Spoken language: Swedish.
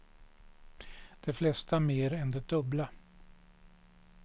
De flesta mer än det dubbla.